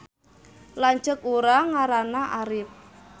Lanceuk urang ngaranna Arip